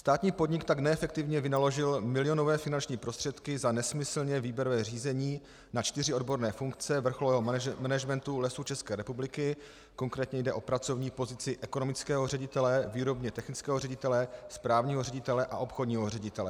Státní podnik tak neefektivně vynaložil milionové finanční prostředky za nesmyslné výběrové řízení na čtyři odborné funkce vrcholového managementu Lesů České republiky, konkrétně jde o pracovní pozici ekonomického ředitele, výrobně technického ředitele, správního ředitele a obchodního ředitele.